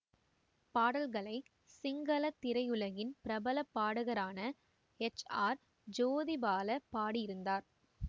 பாடல்களை சிங்கள திரையுலகின் பிரபல பாடகரான ஹெச் ஆர் ஜோதிபால பாடியிருந்தார்